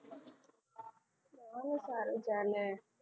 બહુ સારું ચાલે. તું